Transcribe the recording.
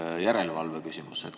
See on järelevalve küsimus.